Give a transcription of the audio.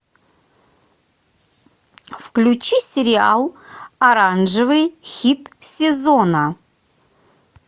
включи сериал оранжевый хит сезона